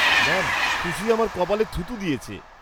Ma'am, Khushi আমার কপালে থুথু দিয়েছে।